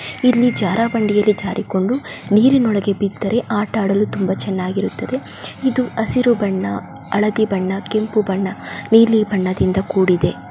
ಇಲ್ಲಿ ಜಾರಬಂಡಿಯಲ್ಲಿ ಜಾರಿಕೊಂಡು ನೀರಿನೊಳ್ಗೆ ಬಿದ್ದರೆ ಆತ ಆಡಲು ತುಂಬಾ ಚೆನ್ನಾಗಿರುತ್ತೆ ಇದು ಹಸಿರು ಬಣ್ಣ ಹಳದಿ ಬಣ್ಣ ಕೆಂಪು ಬಣ್ಣ ನೀಲಿ ಬಣ್ಣದಿಂದ ಕೂಡಿದೆ.